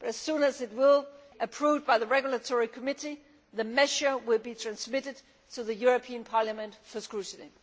But as soon as it is approved by the regulatory committee the measure will be transmitted to the European Parliament for scrutiny.